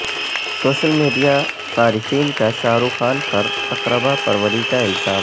social media صارفین کا شاہ رخ خان پر اقربا پروری کا الزام